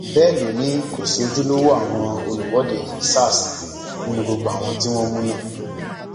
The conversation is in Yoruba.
bẹẹ ló ní kò sí ojúlówó àwọn olùwọde sars nínú gbogbo àwọn tí wọn mú náà